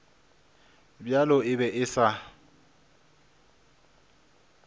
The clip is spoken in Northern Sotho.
bjalo e be e sa